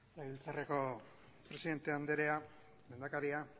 legebiltzarreko presidente anderea lehendakaria